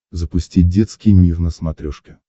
запусти детский мир на смотрешке